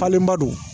Falenba don